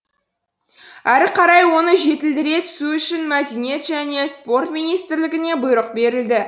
әрі қарай оны жетілдіре түсу үшін мәдениет және спорт министрлігіне бұйрық берілді